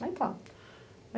Aí tá.